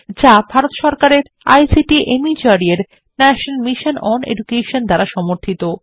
এটি ভারত সরকারের ICT MHRD এর ন্যাশনাল মিশন ওন এডুকেশন দ্বারা সমর্থিত